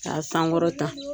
K'a sankɔrɔta.